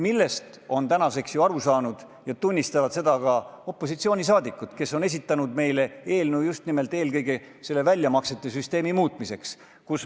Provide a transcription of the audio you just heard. Sellest on aru saanud ja seda tunnistavad ka opositsioonisaadikud, kes on esitanud eelnõu eelkõige väljamaksesüsteemi muutmiseks.